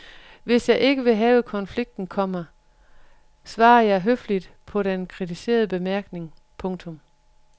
Hvis jeg ikke vil have konflikten, komma svarer jeg høfligt på den kritiserende bemærkning. punktum